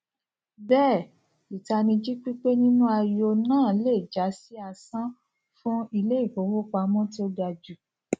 bee itaniji pípé nínú ayo náà le já si asán fún ilé ìfowópamọ tó ga jù